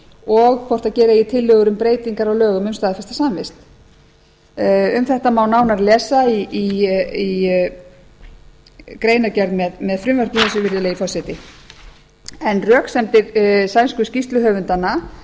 og hvort gera eigi tillögur um breytingar á lögum um staðfesta samvist um þetta má nánar lesa í greinargerð með frumvarpinu virðulegi forseti röksemdir sænsku skýrsluhöfundanna